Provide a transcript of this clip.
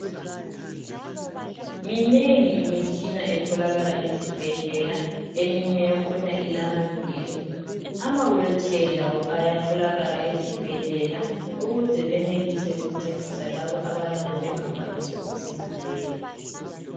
Minengi imitshina etholakala ezibhedlela eminye yakhona ilamaviri. Ama wheelchair lawo ayatholakala ezibhedlela ukuze benelise ukuncedisa labo abayabe bengakwanisi ukuzihambela.